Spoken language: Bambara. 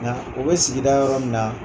Nka u bɛ sigida yɔrɔ min na.